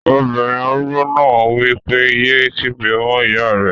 Obìnrin arúgbó náà wí pé, "yé kígbe mọ́ ìyá rẹ!"